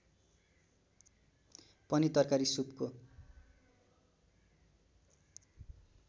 पनि तरकारी सुपको